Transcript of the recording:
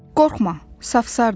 Qorxma, safsardır.